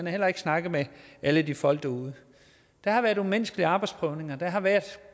heller ikke snakket med alle de folk derude der har været umenneskelige arbejdsprøvninger og der har været